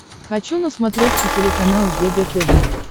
хочу на смотрешке телеканал егэ тв